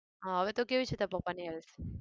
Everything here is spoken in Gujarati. હા હવે તો કેવી છે તારા પપ્પાની health?